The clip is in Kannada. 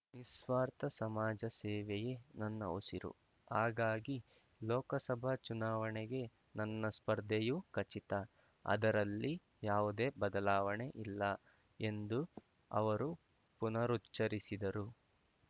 ನಿಸ್ವಾರ್ಥ ಸಮಾಜ ಸೇವೆಯೇ ನನ್ನ ಉಸಿರು ಹಾಗಾಗಿ ಲೋಕಸಭಾ ಚುನಾವಣೆಗೆ ನನ್ನ ಸ್ಪರ್ಧೆಯೂ ಖಚಿತ ಅದರಲ್ಲಿ ಯಾವುದೇ ಬದಲಾವಣೆ ಇಲ್ಲ ಎಂದು ಅವರು ಪುನರುಚ್ಚರಿಸಿದರು